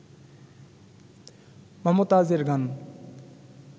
মমতাজ এর গান